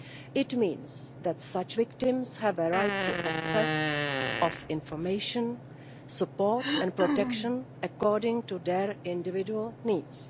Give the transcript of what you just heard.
This means that such victims have a right to access to information, support and protection according to their individual needs.